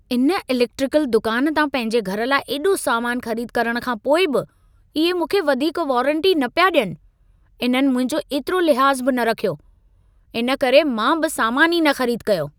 इन इलेकट्रिकल दुकान तां पंहिंजे घर लाइ एॾो सामानु ख़रीद करण खां पोइ बि इहे मूंखे वधीक वारंटी न पिया ॾियनि। इन्हनि मुंहिंजो एतिरो लिहाज़ बि रखियो, इन करे मां बि सामान ई न ख़रीद कयो।